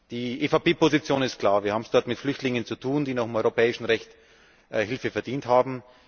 Die EVP Position ist klar Wir haben es dort mit Flüchtlingen zu tun, die nach europäischem Recht Hilfe verdient haben.